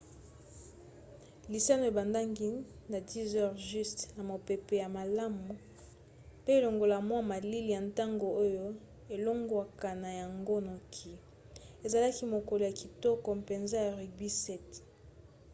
lisano ebandaki na 10h00 na mopepe ya malamu pe longola mwa malili ya ntongo oyo elongwaka na yango noki ezalaka mokolo ya kitoko mpenza ya rugby 7